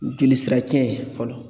joli sira cɛn ye fɔlɔ